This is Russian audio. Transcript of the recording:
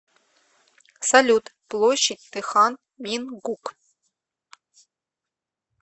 салют площадь тэхан мингук